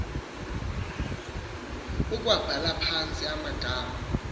ukuwabhala phantsi amagama